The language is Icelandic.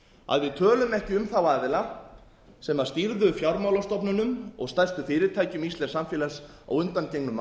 að við tölum ekki um þá aðila sem stýrðu fjármálastofnunum og stærstu fyrirtækjum íslensks samfélags á undangengnum